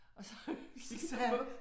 Og så så sagde han